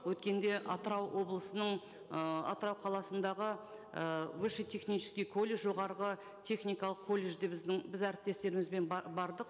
өткенде атырау облысының ыыы атырау қаласындағы і высший технический колледж жоғарғы техникалық колледжде біздің біз әріптестерімізбен бардық